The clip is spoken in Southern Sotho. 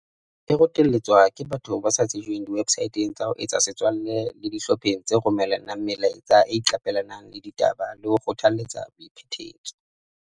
E rotelletswa ke batho ba sa tsejweng diwebsaeteng tsa ho etsa setswalle le dihlopheng tse romella nang melaetsa tse iqape lang ditaba le ho kgothaletsa boiphetetso.